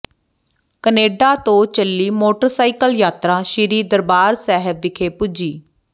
Canada ਤੋਂ ਚਲੀ motorcycle ਯਾਤਰਾ ਸ੍ਰੀ ਦਰਬਾਰ ਸਾਹਿਬ ਵਿਖੇ ਪੁੱਜੀ